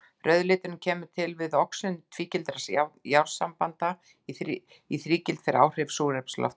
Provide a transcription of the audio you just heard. Rauði liturinn kemur til við oxun tvígildra járnsambanda í þrígild fyrir áhrif súrefnis loftsins.